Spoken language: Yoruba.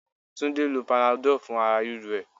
Túndé lo panadol fún ara ríro ẹ.